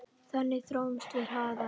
Þannig þróumst við hraðar.